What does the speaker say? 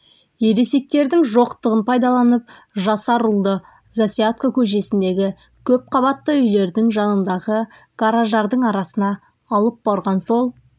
ересектердің жоқтығын пайдаланып жасар ұлды засядко көшесіндегі көпқабатты үйлердің жанындағы гараждардың арасына алып барған сол